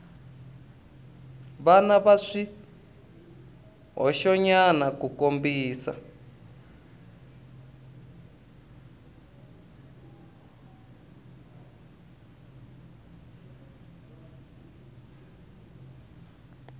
va na swihoxonyana ku kombisa